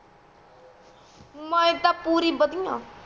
ਮੈਂ ਤਾ ਪੁਰੀ ਬਦਿਆ